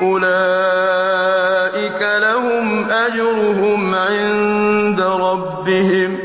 ۗ أُولَٰئِكَ لَهُمْ أَجْرُهُمْ عِندَ رَبِّهِمْ ۗ